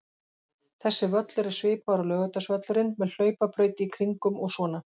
Þessi völlur er svipaður og Laugardalsvöllurinn, með hlaupabraut í kringum og svona.